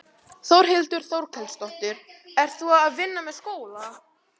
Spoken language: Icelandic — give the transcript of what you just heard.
Þórhildur Þorkelsdóttir: Ert þú að vinna með skóla?